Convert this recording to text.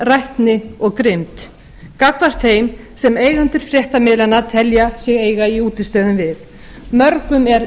dylgjum rætni og grimmd gagnvart þeim sem eiga undir fréttamiðlanna að telja sig eiga í útistöðum við mörgum er